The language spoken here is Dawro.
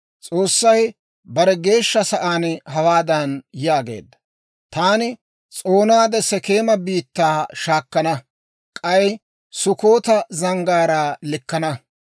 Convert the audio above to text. S'oossay bare geeshsha sa'aan hawaadan yaageedda; «Taani s'oonaade Sekeema biittaa shaakkana; k'ay Sukkoota zanggaaraa likkana.